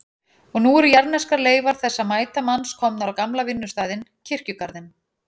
Og nú eru jarðneskar leifar þessa mæta manns komnar á gamla vinnustaðinn, kirkjugarðinn.